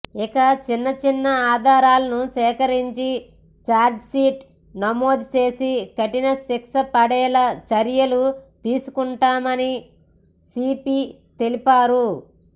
ఇక చిన్న చిన్న ఆధారాలను సేకరించి ఛార్జీషీట్ నమోదు చేసి కఠిన శిక్షపడేలా చర్యలు తీసుకుంటామని సీపీ తెలిపారు